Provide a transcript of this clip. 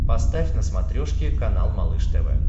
поставь на смотрешке канал малыш тв